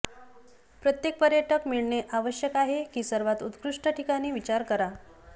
प्रत्येक पर्यटक मिळणे आवश्यक आहे की सर्वात उत्कृष्ट ठिकाणी विचार करा